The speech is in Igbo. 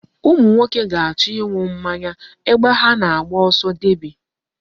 Ụmụ nwoke ga-achọ ịṅụ mmanya ebe ha na-agba ọsọ deby.